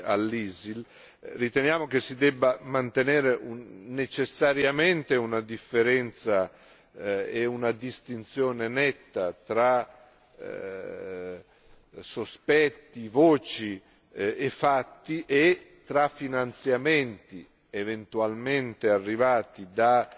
all'ISIL, riteniamo che si debba mantenere necessariamente una differenza e una distinzione netta tra sospetti, voci e fatti e tra finanziamenti eventualmente arrivati